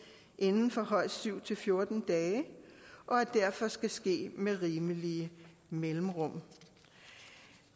inden for højst syv fjorten dage og derfor skal ske med rimelige mellemrum